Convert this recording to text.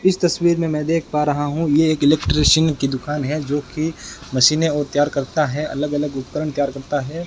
इस तस्वीर मैं में देख पा रहा हूं ये एक इलेक्ट्रिशियन कि दुकान हैं जोकि मशीनें और तैयार करता हैं अलग अलग उपकरण तैयार करता हैं।